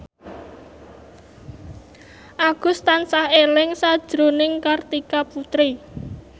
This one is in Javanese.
Agus tansah eling sakjroning Kartika Putri